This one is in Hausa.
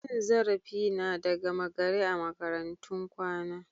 Cin zarafi na da gama gari a makarantun kwana.